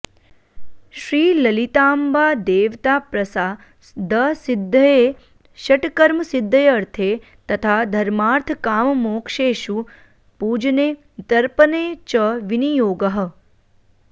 श्रीललिताम्बादेवताप्रसादसिद्धये षट्कर्मसिद्ध्यर्थे तथा धर्मार्थकाममोक्षेषु पूजने तर्पणे च विनियोगः